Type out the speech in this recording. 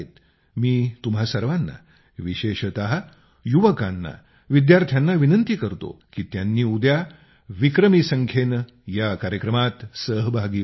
मी तुम्हा सर्वांना विशेषतः युवकांना विद्यार्थ्यांना विनंती करतो की त्यांनी उद्या विक्रमी संख्येनं या कार्यक्रमात सहभागी व्हावे